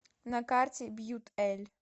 на карте бьютэлль